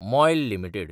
MOIL limited